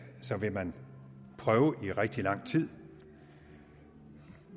vil man prøve i rigtig lang tid